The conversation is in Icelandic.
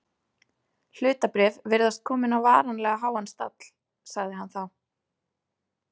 Hlutabréf virðast komin á varanlega háan stall sagði hann þá.